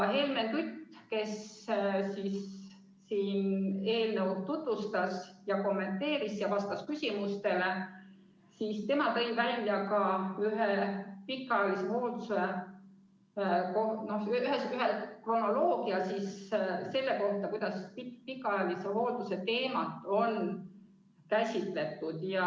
Helmen Kütt, kes eelnõu tutvustas, kommenteeris ja vastas küsimustele, tõi ka pikaajalise hoolduse kronoloogia selle kohta, kuidas pikaajalise hoolduse teemat on käsitletud.